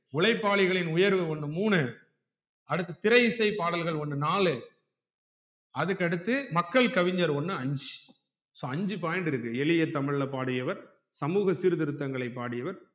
உழைப்பாளிகளின் உயர்வு ஒன்னு மூணு அடுத்து திரை இசை பாடல்கள் ஒன்னு நாலு அதுக்கு அடுத்து மக்கள் கவிஞர் ஒன்னு ஐஞ்சு so அஞ்சு point இருக்கு எளிய தமிழ்ல பாடியவர் சமூக சீர்த்திருத்தங்கள பாடியவர்